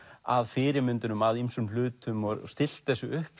að fyrirmyndunum að ýmsum hlutum og stillt þessu upp